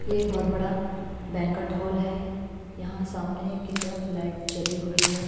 ये एक बहुत बड़ा बैंककट हॉल है यहाँ सामने की तरफ लाइट जली हुई है।